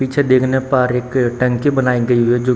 पीछे देखने पर एक टंकी बनाई गयी है जो --